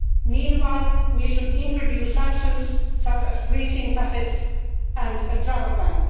go. Meanwhile, we should introduce sanctions such as freezing assets and a travel